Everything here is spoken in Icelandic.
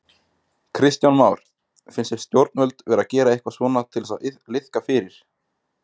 Kristján Már: Finnst þér stjórnvöld vera að gera eitthvað svona til þess að liðka fyrir?